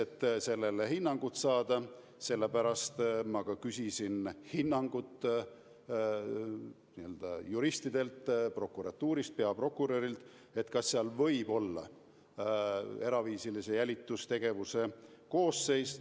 Et sellele hinnangut saada, ma küsisingi juristidelt prokuratuurist, peaprokurörilt, kas tegu võib olla eraviisilise jälitustegevuse koosseisuga.